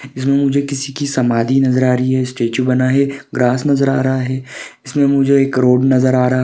इसमे मुझे किसी की समाधी नजर आ रही है स्टेचू बना है ग्रास नजर आ रहा है इसमे मुझे एक रोड नजर आ रहा--